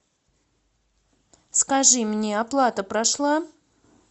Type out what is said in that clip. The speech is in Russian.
скажи мне оплата прошла